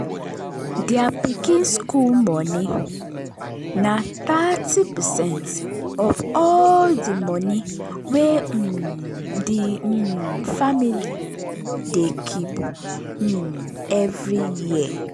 thier pikin school money na thirty percent of all the money wey um the um family dey keep um every year.